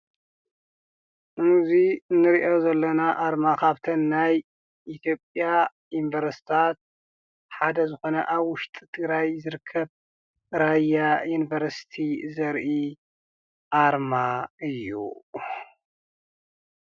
እዚ ንርኦ ዘለና ኣርማ ካብተን ናይ ኢትዮጰያ ዩንቨርስታት ሓደ ዝኾነ ኣብ ውሽጢ ትግራይ ዝርከብ ራያ ዩንቨርስቲ ዘርኢ ኣርማ እዩ።